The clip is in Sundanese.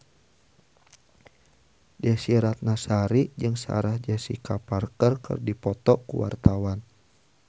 Desy Ratnasari jeung Sarah Jessica Parker keur dipoto ku wartawan